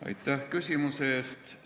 Aitäh küsimuse eest!